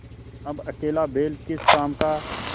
अब अकेला बैल किस काम का